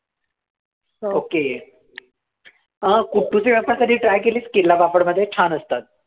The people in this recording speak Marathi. Okay अं कुट्टूचे wafers कधी try केलेस केरला पापडमध्ये छान असतात.